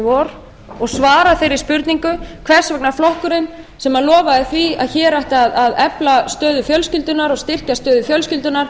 vor og svara þeirri spurningu hvers vegna flokkurinn sem lofaði því að hér ætti að efla stöðu fjölskyldunnar og styrkja stöðu fjölskyldunnar